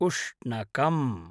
उष्णकम्